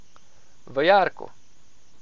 V jarku.